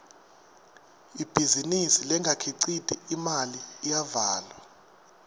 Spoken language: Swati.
ibhizinisi lengakhiciti imali iyavalwa